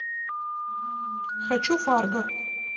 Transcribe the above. хочу фарго